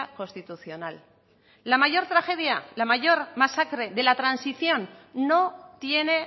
constitucional la mayor tragedia la mayor masacre de la transición no tiene